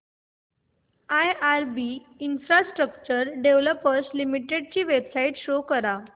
IRB infrastructure developers limited ची website show करा